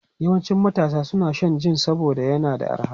Yawancin matasa suna shan jin saboda yana da arha.